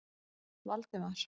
Valdemar